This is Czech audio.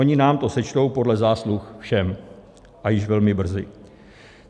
Oni nám to sečtou podle zásluh všem a již velmi brzy.